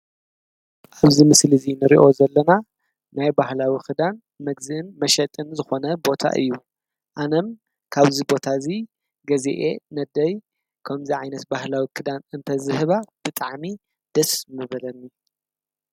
እዚ ምስሊ እዚ እንሪኦ ዘለና ናይ ባህላዊ ክዳን ምግዝእን መሸጥን ዝኾነ ቦታ እዩ፡፡ ኣነም ካብዚ ቦታ እዚ ገዚኣ ንኣደይ ክምዚ ዓይነት ባህላዊ ክዳን እንተዝህባ ብጣዕሚ ደስ ምበለኒ፡፡